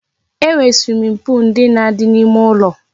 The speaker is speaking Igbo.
E nwere swimming pool ndị na-adị n'ime ụlọ